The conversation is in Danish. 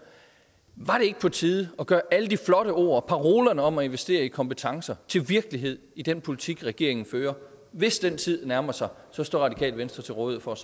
var det ikke på tide at gøre alle de flotte ord parolerne om at investere i kompetencer til virkelighed i den politik regeringen fører hvis den tid nærmer sig står radikale venstre til rådighed for